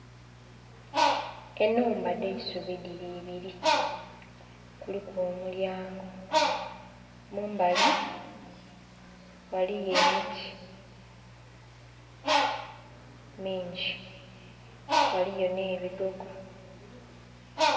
Enhumba dh'eisubi dhili ibili. Kuliku omulyango, mumbali ghaligho emiti mingi ghaligho nh'ebigogo